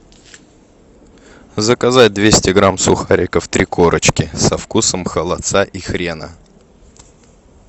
заказать двести грамм сухариков три корочки со вкусом холодца и хрена